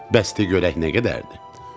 Bəs de görək nə qədərdir?